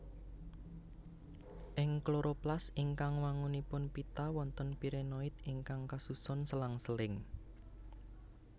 Ing kloroplas ingkang wangunipun pita wonten pirenoid ingkang kasusun selang seling